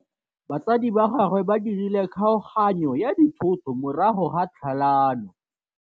Batsadi ba gagwe ba dirile kgaoganyô ya dithoto morago ga tlhalanô.